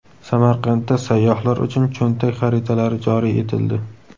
Samarqandda sayyohlar uchun cho‘ntak xaritalari joriy etildi.